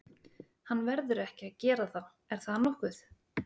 Hann verður ekki að gera það er það nokkuð?